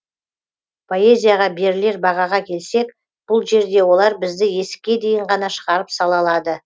поэзияға берілер бағаға келсек бұл жерде олар бізді есікке дейін ғана шығарып сала алады